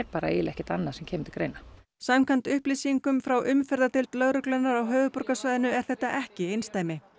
ekkert annað sem kemur til greina samkvæmt upplýsingum frá umferðardeild lögreglunnar á höfuðborgarsvæðinu er þetta ekki einsdæmi